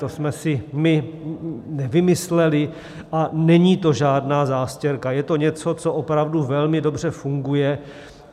To jsme si my nevymysleli a není to žádná zástěrka, je to něco, co opravdu velmi dobře funguje.